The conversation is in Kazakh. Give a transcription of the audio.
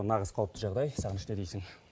нағыз қауіпті жағдай сағыныш не дейсің